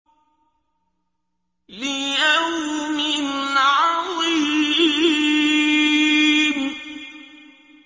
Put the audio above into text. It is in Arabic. لِيَوْمٍ عَظِيمٍ